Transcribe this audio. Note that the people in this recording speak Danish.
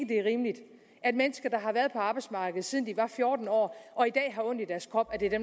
det er rimeligt at mennesker der har været på arbejdsmarkedet siden de var fjorten år og i dag har ondt i deres krop